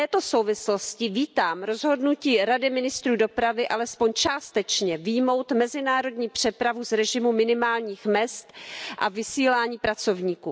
V této souvislosti vítám rozhodnutí Rady ministrů dopravy alespoň částečně vyjmout mezinárodní přepravu z režimu minimálních mezd a vysílání pracovníků.